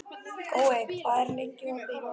Gói, hvað er lengi opið í Málinu?